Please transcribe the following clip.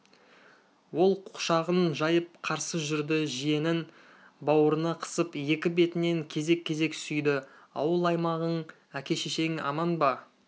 ол құшағын жайып қарсы жүрді жиенін бауырына қысып екі бетінен кезек-кезек сүйді ауыл-аймағың әке-шешең аман ба